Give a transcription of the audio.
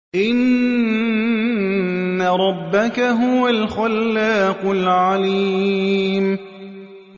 إِنَّ رَبَّكَ هُوَ الْخَلَّاقُ الْعَلِيمُ